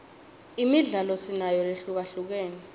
imidlalo sinayo lehlukahlukene